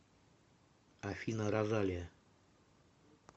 афина розалия